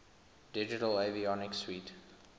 digital avionics suite